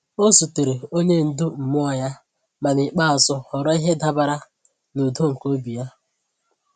Ọ zutere onye ndu mmụọ ya, ma n’ikpeazụ họrọ ihe dabeere na udo nke obi ya.